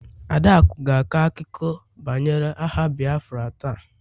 Adaaku ga-akọ akụkọ banyere agha Biafra taa